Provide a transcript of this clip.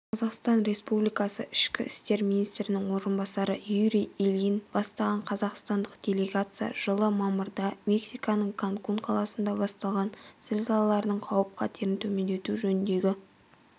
қазақстан республикасы ішкі істер министрінің орынбасары юрий ильин бастаған қазақстандық делегация жылы мамырда мексиканың канкун қаласында басталған зілзалалардың қауіп-қатерін төмендету жөніндегі